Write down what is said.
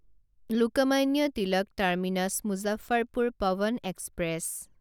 Lokmanya Tilak terminus Muzaffarpur Pawan express